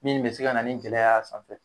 Min bi se ka na ni gɛlɛya sanfɛ